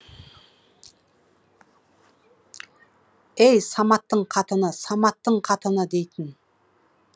ей саматтың қатыны саматтың қатыны дейтін